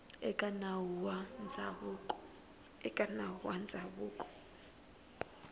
eka nawu wa ndzhavuko na